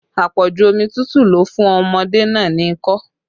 Apoju omi tútù ló fún ọmọdé náà ni ikọ́